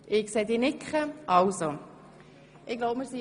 – Ich sehe, dass Grossrätin Imboden nickt.